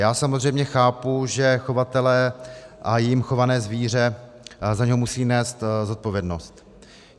Já samozřejmě chápu, že chovatele a jím chované zvíře za něj musí nést zodpovědnost.